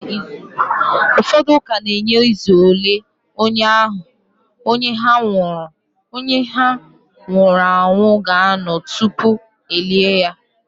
Ụfọdụ ụka na-enye izu ole onye ha nwụrụ anwụ ga-anọ tupu e lie ya